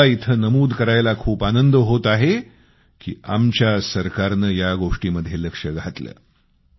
आणि मला इथं नमूद करायला खूप आनंद होतो आहे की आमच्या सरकारनं या गोष्टीमध्ये लक्ष घातलं